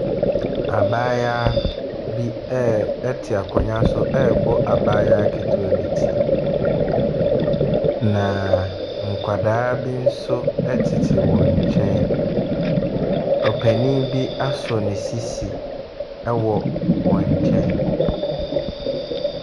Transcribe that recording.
Abayewa bi ɛɛ te akonnwa bi so rebɔ abayewa ketewa bi ti, na nkwadaa bi nso tete wɔn nkyɛn. Ɔpanin bi asɔ ne sisi wɔ wɔn nkyɛn.